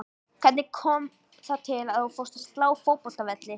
Hvernig kom það til að þú fórst að slá fótboltavelli?